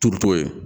Turuto ye